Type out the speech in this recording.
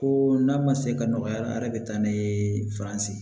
Ko n'a ma se ka nɔgɔya la a yɛrɛ bɛ taa n'a ye faransi